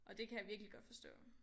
Og det kan jeg virkelig godt forstå